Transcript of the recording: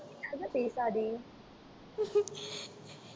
பேசாதே